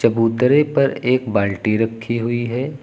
चबूतरे पर एक बाल्टी रखी हुई है।